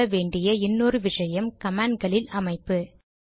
புரிந்து கொள்ள வேண்டிய இன்னொரு விஷயம் கமாண்ட் களில் அமைப்பு